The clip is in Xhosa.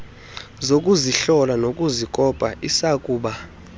zokuzihlola nokuzikopa isakuba